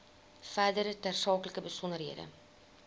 verdere tersaaklike besonderhede